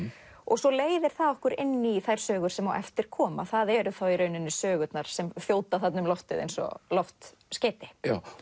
svo leiðir það okkur inn í þær sögur sem á eftir koma það eru þá sögurnar sem þjóta þarna um loftið eins og loftskeyti